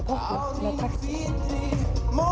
takti